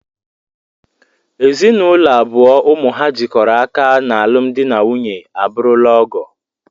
Ezinụlọ abụọ ụmụ ha jikọrọ aka n'alụm dị na nwunye abụrụla ọgọ